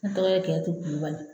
Ne tɔgɔ ye kiyatu kulubali